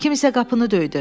Kimsə qapını döydü.